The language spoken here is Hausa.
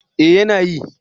Eh yana yi.